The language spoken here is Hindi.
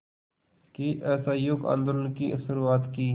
के असहयोग आंदोलन की शुरुआत की